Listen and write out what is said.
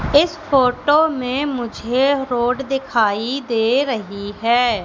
इस फोटो में मुझे रोड दिखाई दे रही है।